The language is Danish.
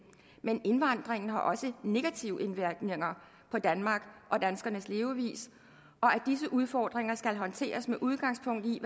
men indvandringen har også negative indvirkninger på danmark og danskernes levevis og at disse udfordringer skal håndteres med udgangspunkt i